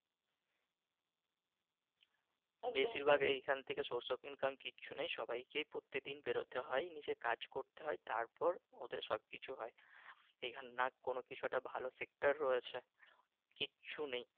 বেশির ভাগ এইখান থেকে source of income কিছু নেই সবাই খেয়ে পরতে দিন পেরোতে হয় তারপর ওদের সব কিছু হয় । এইখানে নাহ কোন কিছু একটা ভালো sector রয়েছে কিচ্ছু নেই